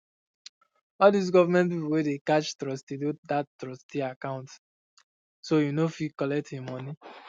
all these government people wen dey catch trustee doh that trustee account so he nor go fit collect he money